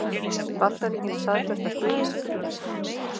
Bandaríkin staðfesta stuðning